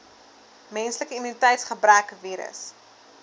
menslike immuniteitsgebrekvirus